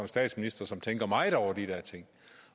statsminister som tænker meget over de ting